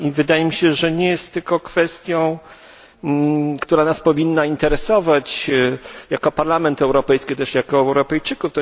Wydaje mi się, że nie jest to tylko kwestia, która nas powinna interesować jako Parlament Europejski czy też Europejczyków.